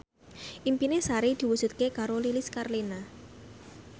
impine Sari diwujudke karo Lilis Karlina